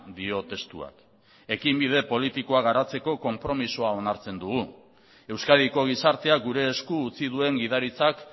dio testuak ekinbide politikoa garatzeko konpromisoa onartzen dugu euskadiko gizartea gure esku utzi duen gidaritzak